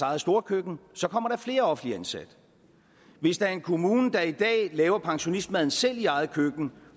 eget storkøkken så kommer der flere offentligt ansatte hvis der er en kommune der i dag laver pensionistmaden selv i eget køkken